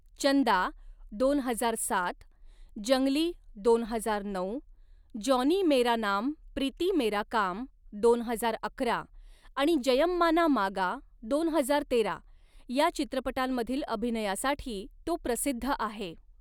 चंदा दोन हजार सात, जंगली दोन हजार नऊ, जॉनी मेरा नाम प्रीती मेरा काम दोन हजार अकरा आणि जयम्माना मागा दोन हजार तेरा या चित्रपटांमधील अभिनयासाठी तो प्रसिद्ध आहे.